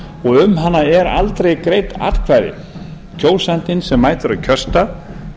og um hana er yfirleitt aldrei greidd atkvæði kjósandinn sem mætir á kjörstað